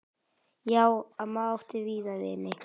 Já, amma átti víða vini.